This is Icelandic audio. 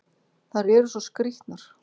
Þær eru svo skrýtnar!